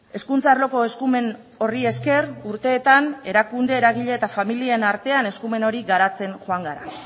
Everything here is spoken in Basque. hezkuntza arloko eskumen horri esker urteetan erakunde eragile eta familien artean eskumen hori garatzen joan gara